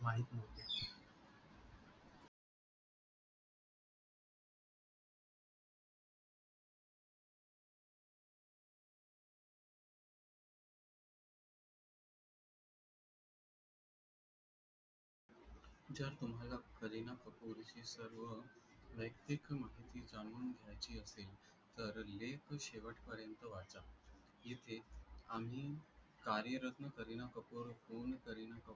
करीना कपूर ही सर्व व्ययक्तिक माहिती जाऊन घ्याची असेल तर लेख शेवट पर्यंत वाचा जिथे आम्ही कार्यरत्न करीना कपूरहून करीना कपूर